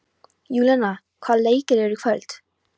Júlíana, hvaða leikir eru í kvöld?